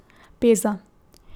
Peza.